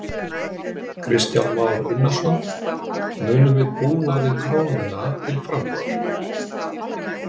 Kristján Már Unnarsson: Munum við búa við krónuna til frambúðar?